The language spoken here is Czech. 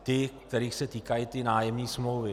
Ty, kterých se týkají ty nájemní smlouvy.